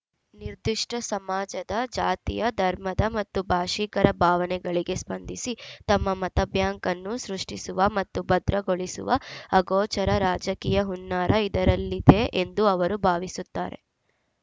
ನಿರ್ದಿಷ್ಟಸಮಾಜದ ಜಾತಿಯ ಧರ್ಮದ ಮತ್ತು ಭಾಷಿಕರ ಭಾವನೆಗಳಿಗೆ ಸ್ಪಂದಿಸಿ ತಮ್ಮ ಮತಬ್ಯಾಂಕನ್ನು ಸೃಷ್ಟಿಸುವ ಮತ್ತು ಭದ್ರಗೊಳಿಸುವ ಅಗೋಚರ ರಾಜಕೀಯ ಹುನ್ನಾರ ಇದರಲ್ಲಿದೆ ಎಂದು ಅವರು ಭಾವಿಸುತ್ತಾರೆ